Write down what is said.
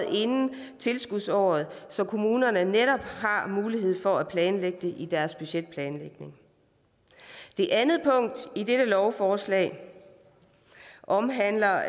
inden tilskudsåret så kommunerne netop har mulighed for at planlægge med det i deres budgetplanlægning det andet punkt i dette lovforslag omhandler